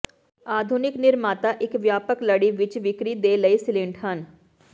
ਆਧੁਨਿਕ ਨਿਰਮਾਤਾ ਇੱਕ ਵਿਆਪਕ ਲੜੀ ਵਿੱਚ ਵਿਕਰੀ ਦੇ ਲਈ ਸੀਲੰਟ ਹਨ